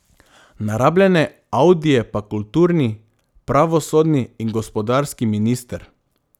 Na rabljene audije pa kulturni, pravosodni in gospodarski minister.